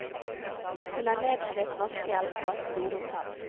Hun er nedslitt vaskehjelp på et storhotell.